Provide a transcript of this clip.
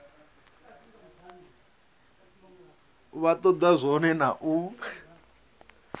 vha toda zwone na u